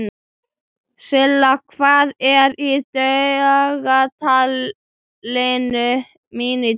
Silla, hvað er í dagatalinu mínu í dag?